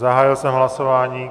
Zahájil jsem hlasování.